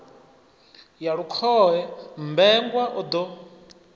ya lukhohe mmbengwa o ḓo